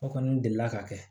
O kɔni delila ka kɛ